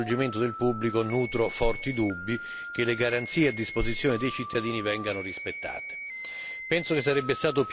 Tuttavia, in relazione al coinvolgimento del pubblico, nutro forti dubbi che le garanzie a disposizione dei cittadini vengano rispettate.